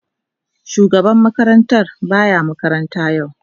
Shugaban makarantar ba ya makaranta yau.